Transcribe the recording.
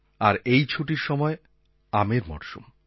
আর এই ছুটির সময় আমের মরশুম